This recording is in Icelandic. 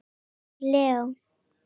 Unnar Leó.